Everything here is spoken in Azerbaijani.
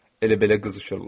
Elə belə qızışırlar.